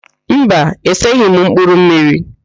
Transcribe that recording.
Mba, eseghị m mkpụrụmmiri